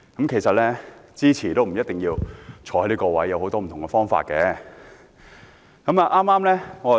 其實，即使支持也不一定要在席，還有很多不同的表達方式。